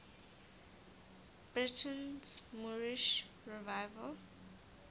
britain's moorish revival